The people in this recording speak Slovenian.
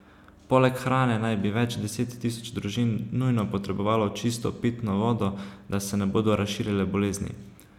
Poleg hrane naj bi več deset tisoč družin nujno potrebovalo čisto pitno vodo, da se ne bodo razširile bolezni.